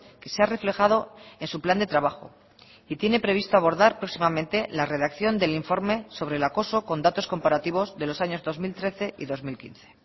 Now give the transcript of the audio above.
que se ha reflejado en su plan de trabajo y tiene previsto abordar próximamente la redacción del informe sobre el acoso con datos comparativos de los años dos mil trece y dos mil quince